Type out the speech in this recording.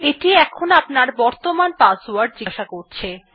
এটি আপনার বর্তমান পাসওয়ার্ড জিজ্ঞাসা করছে